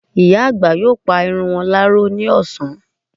Ìyá àgbà yóò pa irun wọn láró ní ọ̀sán